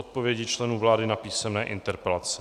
Odpovědi členů vlády na písemné interpelace